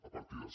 a partides